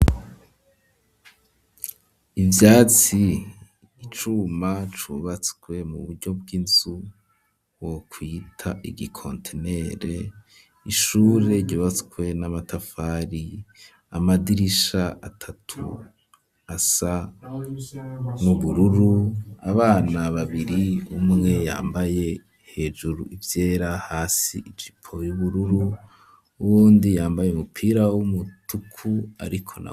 Ivyatsi icuma cubatswe mu buryo bw'inzu wokwita igikontinere ishure ryubatswe n'amatafari amadirisha atatu asa n'ubururu abana babiri umwe yambaye hejuru ivyera hasi ijipo yubururu uwundi yambaye umupira w'umutuku ariko .